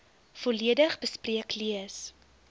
volledig bespreek lees